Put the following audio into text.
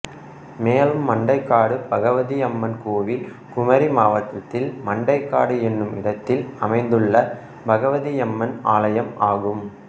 மேலும் மண்டைக்காடு பகவதி அம்மன் கோவில் குமரி மாவட்டத்தில் மண்டைக்காடு என்னும் இடத்தில் அமைந்துள்ள பகவதியம்மன் ஆலயம் ஆகும்